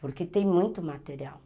Porque tem muito material.